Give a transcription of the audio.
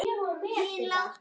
Hinn látna.